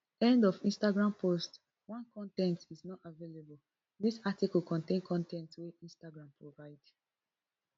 end of instagram post one con ten t is not available dis article contain con ten t wey instagram provide